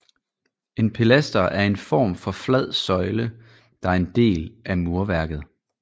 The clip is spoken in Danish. En pilaster er en form for flad søjle der er en del af murværket